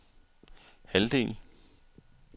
halvdel